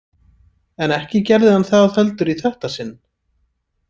En ekki gerði hann það heldur í þetta sinn.